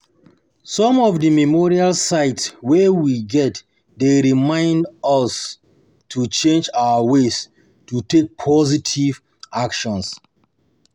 Some of di memorial sites wey we get dey remind get dey remind us to change our ways or take positive actions